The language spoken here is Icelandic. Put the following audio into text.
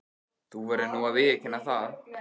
Þú verður nú að viðurkenna það.